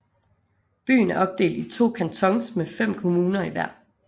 Byen er opdelt i to Cantons med fem kommuner i hver